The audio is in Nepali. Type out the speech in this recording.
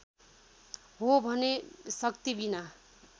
हो भने शक्तिबिना